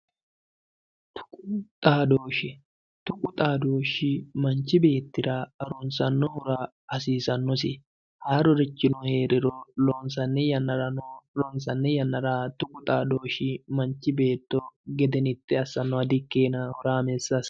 Tuqu xadooshe, tuqu xadooshi manchu beettira harunsanohura hasiisanosi, haarurichino heeriro loonsanni yannarano loonsani yanna tuqu xadooshi manchu beetto gedenite assanoha di'ikkinonna horamessa assano.